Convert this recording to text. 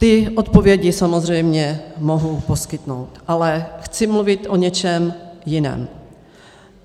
Ty odpovědi samozřejmě mohou poskytnout, ale chci mluvit o něčem jiném.